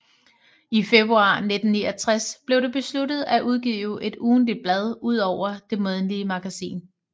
I februar 1969 blev det besluttet at udgive et ugentligt blad udover det månedlige magasin